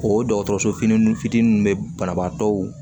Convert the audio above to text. O dɔgɔtɔrɔso fitini ninnu fitinin bɛ banabaatɔw